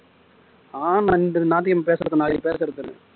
ஆஹ் பேசுறது நாளைக்கு பேசுறது தானே